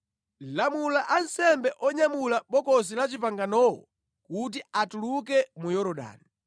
“Lamula ansembe onyamula Bokosi la Chipanganowo kuti atuluke mu Yorodani.”